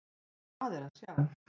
Og hvað er að sjá?